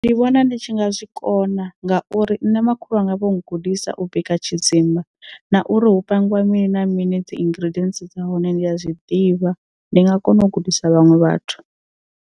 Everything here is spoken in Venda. Ndi vhona ndi tshi nga zwikona ngauri nṋe makhulu wanga vho ngudisa u bika tshidzimba na uri hu pangiwa mini na mini dzi ingredients dza hone ndi a zwi ḓivha ndi nga kona u gudisa vhaṅwe vhathu.